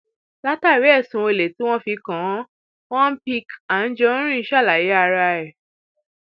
látàrí ẹsùn olè tí wọn fi kàn án l picc anjorin ṣàlàyé ara ẹ